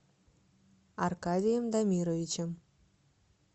аркадием дамировичем